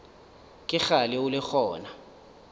ke kgale o le gona